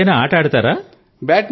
మీరు ఏదైనా ఆట ఆడుతారా